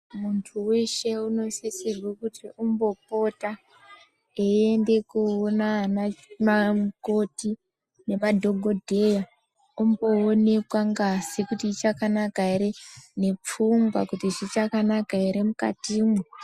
Muntu weshe unosisirwe kuti umbopota eiende koona ana vanamukoti nemadhokodheya omboonekwa ngazi kuti ichakanaka ere nepfungwa kuti zvichakanaka ere mukatimwo.